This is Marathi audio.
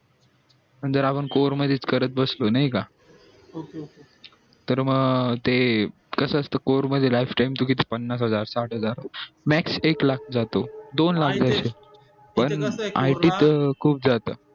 पण जर आपण score मध्ये च करत बसलो नई का तर म ते कस असत ते score last time किती पन्नास हजार साठ हजार max एक लाख जातो दोन लाख जातो पण it च खूप जातं